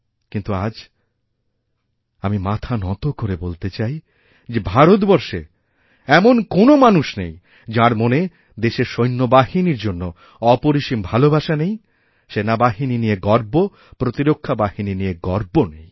কিন্তু আজ আমি মাথা নত করে বলতে চাই যে ভারতবর্ষে এমনকোনো মানুষ নেই যাঁর মনে দেশের সৈন্যবাহিনীর জন্য অপরিসীম ভালোবাসা নেইসেনাবাহিনী নিয়ে গর্ব প্রতিরক্ষা বাহিনী নিয়ে গর্ব নেই